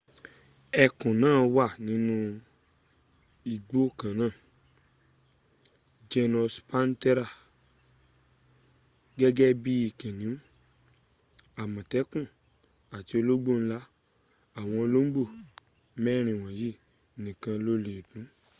ẹkùn náà wà nínu ẹgbk kanáà genus panthera gẹ́gk bí kìnìú àmọ̀tékù àti olóngbò ńlá. àwọn olọ́ngbò mẹrin wọ̀nyí nìkan ló lè dún